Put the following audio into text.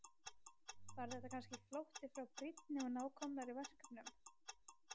Var þetta kannski flótti frá brýnni og nákomnari verkefnum?